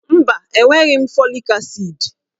Mba, enweghị m fọlik asịd.